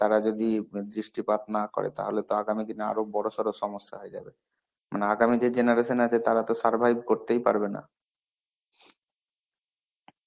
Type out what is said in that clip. তারা যদি দৃষ্ঠিপাত না করে তাহলে তো আগামী দিনে আরো বড় সরো সমস্যা হয়ে যাবে.মানে আগামী যে generation আছে, তারাতো survive করতেই পারবে না.